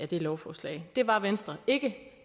det lovforslag det var venstre ikke